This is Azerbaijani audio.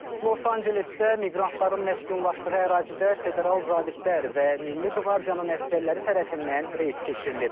Los Angelesdə miqrantların məskunlaşdığı ərazidə federal zabitlər və milli qvardiyanın əsgərləri tərəfindən reyd keçirilib.